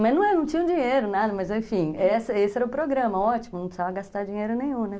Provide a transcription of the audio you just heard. Mas não é, não tinha dinheiro, nada, mas enfim, essa esse era o programa, ótimo, não precisava gastar dinheiro nenhum, né?